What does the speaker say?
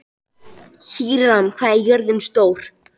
Híram, hvað er jörðin stór?